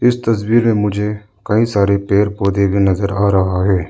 इस तस्वीर मे मुझे कई सारे पेड़ पौधे भी नजर आ रहा है।